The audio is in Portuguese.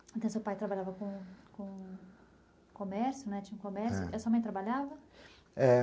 Então, seu pai trabalhava com com comércio, né, tinha um comércio, é, e a sua mãe trabalhava? é